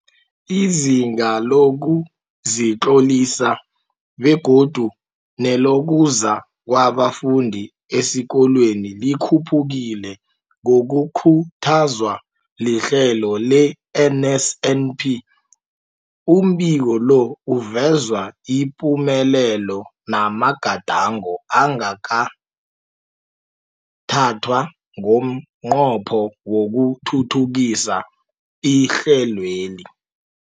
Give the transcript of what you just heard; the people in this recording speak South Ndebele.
Izinga lokuzitlolisa begodu nelokuza kwabafundi esikolweni likhuphukile ngokukhuthazwa lihlelo le-NSNP. Umbiko lo uveza ipumelelo namagadango angathathwa ngomnqopho wokuthuthukisa ihlelweli.